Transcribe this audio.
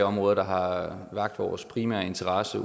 områder der har vakt vores primære interesse